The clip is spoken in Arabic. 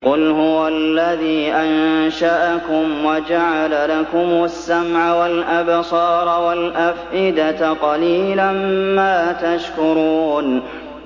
قُلْ هُوَ الَّذِي أَنشَأَكُمْ وَجَعَلَ لَكُمُ السَّمْعَ وَالْأَبْصَارَ وَالْأَفْئِدَةَ ۖ قَلِيلًا مَّا تَشْكُرُونَ